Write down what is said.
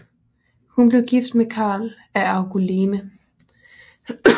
Hun blev gift med Karl af Angoulême